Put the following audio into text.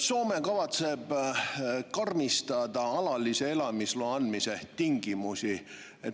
Soome kavatseb karmistada alalise elamisloa andmise tingimusi.